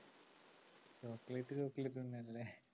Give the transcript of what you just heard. chocolate chocolate തന്നല്ലേ